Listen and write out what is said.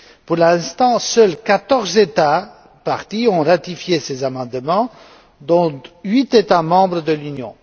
Pour l'instant, seuls quatorze États parties ont ratifié ces amendements dont huit États membres de l'Union.